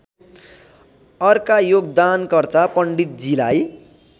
अर्का योगदानकर्ता पण्डितजीलाई